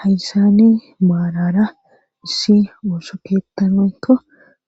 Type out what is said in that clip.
hayssani maarara issi oso keetan woyikko